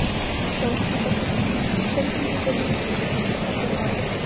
Þórhildur Þorkelsdóttir: Hver er tilgangur Ríkisútvarpsins að þínu mati?